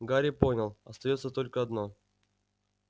гарри понял остаётся только одно